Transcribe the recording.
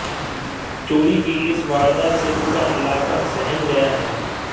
चोरी की इस वारदात से पूरा इलाका सहम गया है